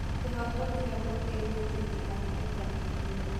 Kĩhoto kĩa mũthĩni gĩtirathingatithio.